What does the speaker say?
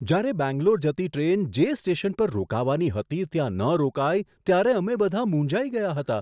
જ્યારે બેંગ્લોર જતી ટ્રેન જે સ્ટેશન પર રોકાવાની હતી ત્યાં ન રોકાઈ ત્યારે અમે બધા મૂંઝાઈ ગયા હતા.